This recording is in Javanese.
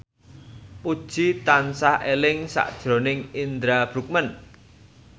Puji tansah eling sakjroning Indra Bruggman